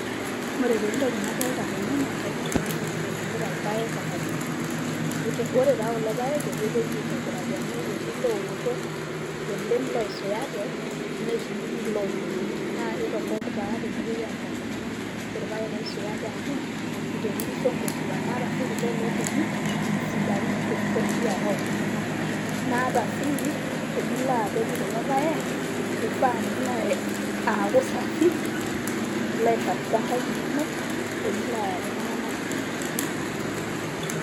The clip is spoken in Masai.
ore taa entoki nadolita tene naa enkaina oltungani naibungita ilpaek tekarribu, ore taa kulo paek neitu epeji aitobiraki amu etii ilooto oleng ooisuyate, netii iloojoni, naa eitorrok naa tenepoi aamiraki iltuanganak ilpaek oisuyate arashu iloojoni amu eitotirrisho inkoishuaa. Naa ata sii tenilo apej kulo pake keifaa niaku safi nilo aisafisha inkaik inonok pee milo ayaki iltunganak imoyiaritin